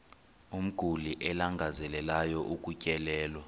umguli alangazelelayo ukutyelelwa